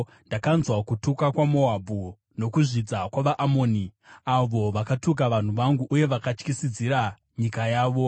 “Ndakanzwa kutuka kwaMoabhu nokuzvidza kwavaAmoni, avo vakatuka vanhu vangu uye vakatyisidzira nyika yavo.